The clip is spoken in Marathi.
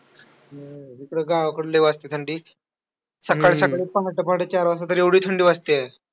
हम्म इकडं गावाकडं लय वाजते थंडी. सकाळ सकाळी पहाटं पहाटे चार वाजता तर एवढी थंडी वाजतेय.